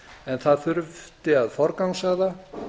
en það þurfti að forgangsraða